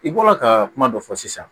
I bɔra ka kuma dɔ fɔ sisan